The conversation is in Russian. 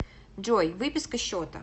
джой выписка счета